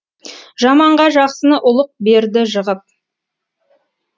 жаманға жақсыны ұлық берді жығып